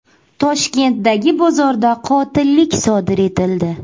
Toshkentdagi bozorda qotillik sodir etildi.